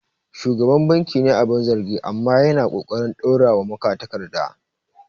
Shugaban bankin ne abin zargi, amma yana ƙoƙarin dorawa magatakarda.